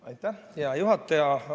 Aitäh, hea juhataja!